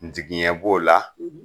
N tigiɲɛn b'o la